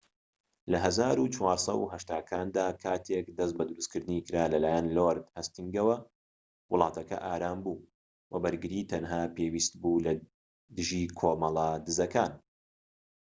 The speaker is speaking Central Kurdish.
لە ١٤٨٠کاندا، کاتێك دەست بە دروستکردنی کرا لەلایەن لۆرد هەستینگەوە، وڵاتەکە ئارام بوو وە بەرگری تەنها پێویست بوو لەدژی کۆمەڵە دزەکان